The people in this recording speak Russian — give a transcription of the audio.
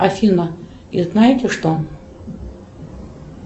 афина и знаете что